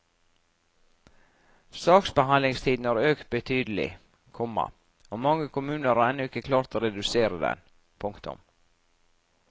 Saksbehandlingstiden har økt betydelig, komma og mange kommuner har ennå ikke klart å redusere den. punktum